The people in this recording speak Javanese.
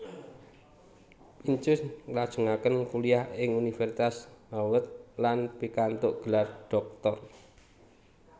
Pincus nglajengaken kuliah ing Universitas Harvard lan pikantuk gelar dhoktor